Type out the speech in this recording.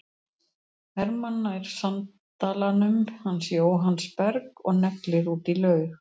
Hermann nær sandalanum hans Jóhanns Berg og neglir út í laug.